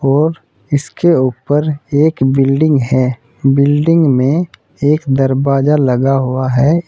और इसके ऊपर एक बिल्डिंग है बिल्डिंग में एक दरवाजा लगा हुआ है।